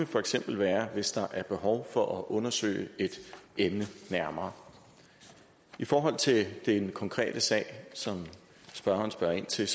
for eksempel være hvis der er behov for at undersøge et emne nærmere i forhold til den konkrete sag som spørgeren spørger ind til